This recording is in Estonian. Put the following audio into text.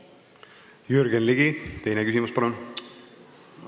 Jürgen Ligi, teine küsimus, palun!